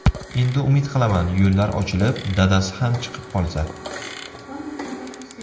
Endi umid qilaman yo‘llar ochilib, dadasi ham chiqib qolsa.